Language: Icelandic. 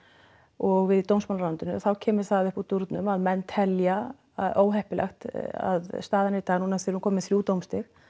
og við í dómsmálaráðuneytingu þá kemur það upp úr dúrnum að menn telja að óheppilegt að staðan er í dag núna af því við erum komin með þrjú dómstig